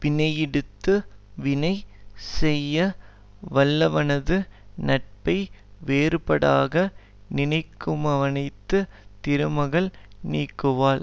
வினையிடத்து வினை செய்ய வல்லவனது நட்பை வேறுபாடாக நினைக்குமவனை திருமகள் நீங்குவள்